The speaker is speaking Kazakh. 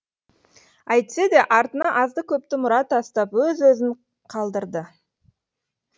әйтсе де артына азды көпті мұра тастап өз ізін қалдырды